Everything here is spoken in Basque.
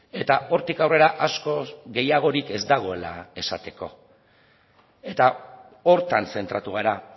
eta hortik aurrera askoz gehiagorik ez dagoela esateko eta horretan zentratu gara